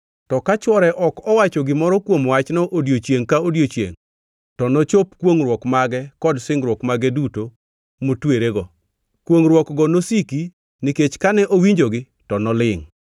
To ka chwore ok owacho gimoro kuom wachno odiechiengʼ ka odiechiengʼ, to nochop kwongʼruok mage kod singruok mage duto motwerego. Kwongʼruokgo nosiki nikech kane owinjogi to nolingʼ.